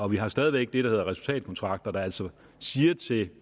vi har stadig væk det der hedder resultatkontrakter der altså siger til